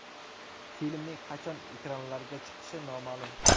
Filmning qachon ekranlarga chiqishi noma’lum.